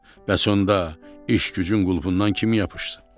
Bəs onda iş-gücün qulpunnan kim yapışsın?